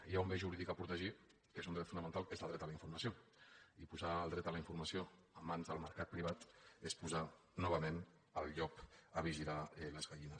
hi ha un bé jurídic a protegir que és un dret fonamental que és el dret a la informació i posar el dret a la informació en mans del mercat privat és posar novament el llop a vigilar les gallines